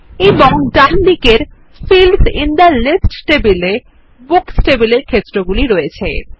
এবং ডানদিকের fields in the list table এ বুকস টেবিলের ক্ষেত্রগুলি আছে